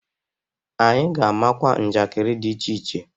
Anyị ga-amakwa njakiri dị iche iche.